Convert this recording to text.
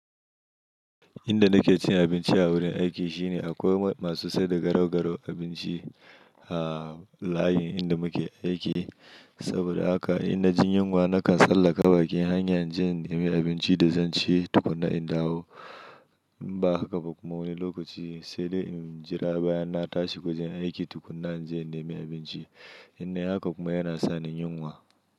Inda nake cin abinci a wurin aiki shine akwai masu sai da garau-garau abinci a layin inda muke aiki. Saboda haka in naji yunwa nakan tsallaka bakin hanya inje in nemi abinci da zan ci tukuna in dawo. In ba haka ba kuma wani lokaci sai dai in jira bayan na tashi wajan aiki tukuna inje in nemi abinci. In nayi haka kuma yana sa min yunwa.